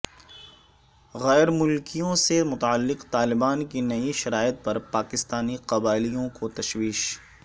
غیر ملکیوں سے متعلق طالبان کی نئی شرائط پر پاکستانی قبائلیوں کو تشویش